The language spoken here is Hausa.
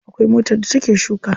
Akwai motar da ta ke shuka.